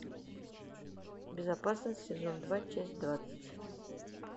безопасность сезон два часть двадцать